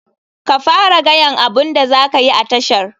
Ka fara gayan abun da zakayi a tashar.